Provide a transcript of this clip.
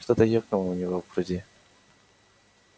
что-то ёкнуло у него в груди